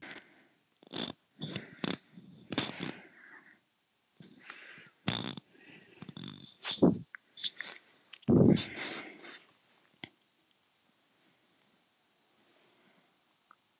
Hildur Ómarsdóttir: Það besta við Ísland?